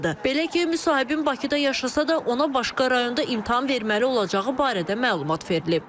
Belə ki, müsahibin Bakıda yaşasa da, ona başqa rayonda imtahan verməli olacağı barədə məlumat verilib.